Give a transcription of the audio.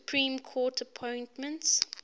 supreme court appointments